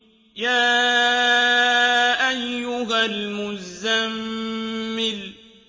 يَا أَيُّهَا الْمُزَّمِّلُ